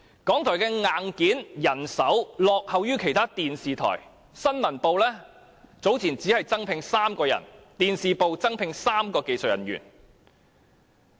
港台的硬件和人手落後於其他電視台，新聞部早前只增聘3人，電視部增聘3名技術人員。